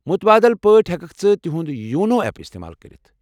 مُتبٲدِل پٲٹھۍ ، ہٮ۪ککھ ژٕ تِہٗند یونو اٮ۪پ استعمال کٔرتھ۔